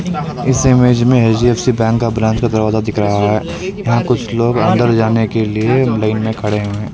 इस इमेज में HDFC bank का ब्रांच का दरवाजा दिख रहा है यहां कुछ लोग अन्दर जाने के लिए लाइन में खड़े हुए हैं।